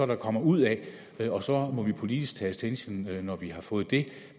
der kommer ud af det og så må vi politisk tage stilling når vi har fået det